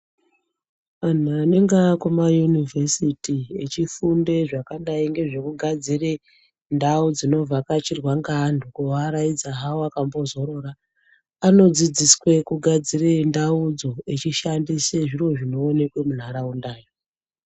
Anhu anenge akuma yunivhesiti echifunde zvakadayi ngezvekugadzire ndau dzinovhakachirwa ngeantu kuaraidza hawo akazorara anodzidziswe kugadzire ndaudzo achishandise zviro zvinooneka mundaraundayo.